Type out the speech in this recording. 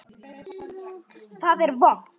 Það er vont.